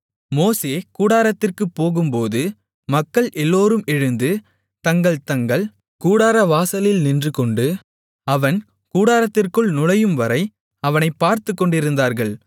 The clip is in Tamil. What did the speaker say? மோசே கூடாரத்திற்குப் போகும்போது மக்கள் எல்லோரும் எழுந்து தங்கள் தங்கள் கூடாரவாசலில் நின்றுகொண்டு அவன் கூடாரத்திற்குள் நுழையும்வரை அவனை பார்த்துக்கொண்டிருந்தார்கள்